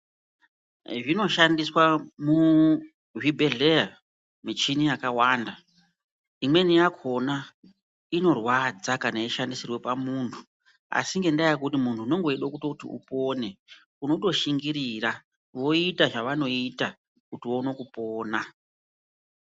Zvinoshandiswa muzvibhedhlera muchini yakawanda imweni yakona inorwadza kana yeishandisirwa pamuntu asi ngendaa yekuti muntu unenge weida kutoti upone unotoshingirira voita zvavanoita kuti uone kupona.